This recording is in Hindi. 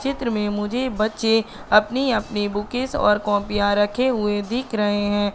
चित्र मे मुझे बच्चे अपनी अपनी बुकेज ओर कॉपियां रखे हुए दिख रहे है।